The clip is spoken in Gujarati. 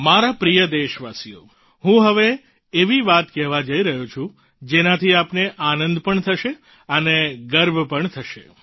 મારા પ્રિય દેશવાસીઓ હવે હું એવી વાત કહેવા જઈ રહ્યો છું જેનાથી આપને આનંદ પણ થશે અને ગર્વ પણ થશે